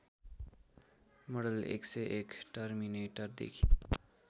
मडल १०१ टर्मिनेटरदेखि